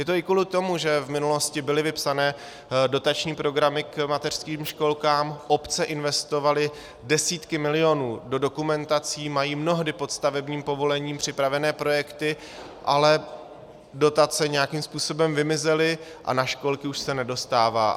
Je to i kvůli tomu, že v minulosti byly vypsané dotační programy k mateřským školkám, obce investovaly desítky milionů do dokumentací, mají mnohdy pod stavebním povolením připravené projekty, ale dotace nějakým způsobem vymizely a na školky už se nedostává.